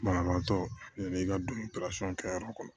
Banabaatɔ ne ka don kɛyɔrɔ kɔnɔ